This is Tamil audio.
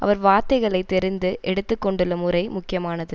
அவர் வார்த்தைகளை தெரிந்து எடுத்து கொண்டுள்ள முறை முக்கியமானது